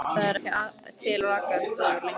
Það eru ekki til rakarastofur lengur.